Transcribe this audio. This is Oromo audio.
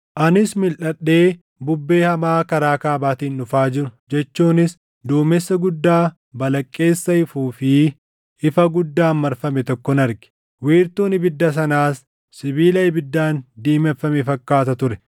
Anis milʼadhee bubbee hamaa karaa kaabaatiin dhufaa jiru jechuunis duumessa guddaa balaqqeessa ifuu fi ifa guddaan marfame tokkon arge. Wiirtuun ibidda sanaas sibiila ibiddaan diimeffame fakkaata ture;